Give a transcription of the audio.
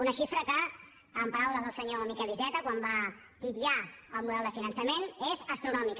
una xifra que en paraules del senyor miquel iceta quan va titllar el model de finançament és astronòmica